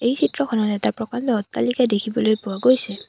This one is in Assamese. এই চিত্ৰখনত এটা প্ৰকাণ্ড অট্টালিকা দেখিবলৈ পোৱা গৈছে।